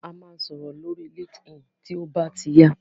A máa sọ̀rọ̀ lórí Linkedin tí ó bá ti yá.